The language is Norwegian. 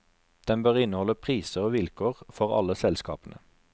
Den bør inneholde priser og vilkår for alle selskapene.